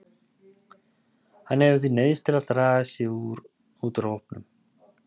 Hann hefur því neyðst til að draga sig út úr hópnum.